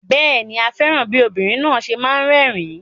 Bẹ́ẹ̀ ni, a fẹ́ràn bí obìnrin náà ṣe máa ń rẹ́rìn-ín.